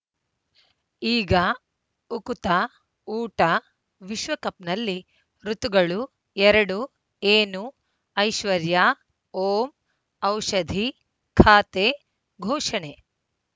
ಈಗ ಉಕುತ ಊಟ ವಿಶ್ವಕಪ್‌ನಲ್ಲಿ ಋತುಗಳು ಎರಡು ಏನು ಐಶ್ವರ್ಯಾ ಓಂ ಔಷಧಿ ಖಾತೆ ಘೋಷಣೆ